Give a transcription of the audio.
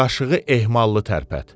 Qaşığı ehmallı tərpət.